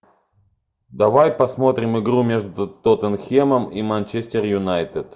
давай посмотрим игру между тоттенхэмом и манчестер юнайтед